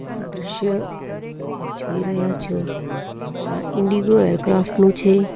આ દ્રશ્ય આપ જોઈ રહ્યા છો આ ઇન્ડિગો એરક્રાફ્ટ નું છે.